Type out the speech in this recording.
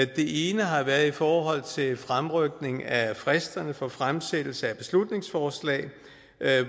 det ene har været i forhold til fremrykning af fristerne for fremsættelse af beslutningsforslag